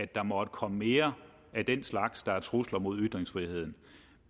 der måtte komme mere af den slags der er trusler mod ytringsfriheden